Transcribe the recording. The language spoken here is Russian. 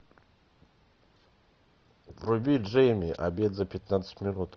вруби джейми обед за пятнадцать минут